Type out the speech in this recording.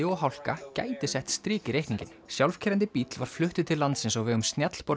og hálka gæti sett strik í reikninginn sjálfkeyrandi bíll var fluttur til landsins á vegum